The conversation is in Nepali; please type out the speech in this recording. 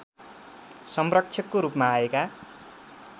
संरक्षकको रूपमा आएका